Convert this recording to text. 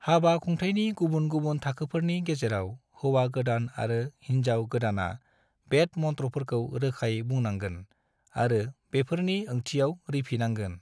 हाबा खुंथायनि गुबन गुबुन थाखोफोरनि गेजेराव हौवा गोदान आरो होनजाव गोदाना वेद मन्त्रफोरखौ रोखायै बुंनांगोन आरो बेफोरनि ओंथियाव रिफिनांगोन।